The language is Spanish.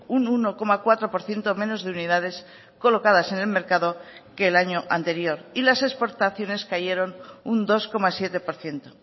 un uno coma cuatro por ciento menos de unidades colocadas en el mercado que el año anterior y las exportaciones cayeron un dos coma siete por ciento